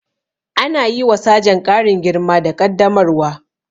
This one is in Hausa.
Ana yi wa sajan ƙarin girma da ƙaddamarwa